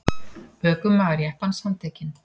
Ökumaður jeppans handtekinn